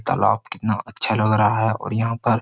तालाब कितना अच्छा लग रहा है और यहां पर --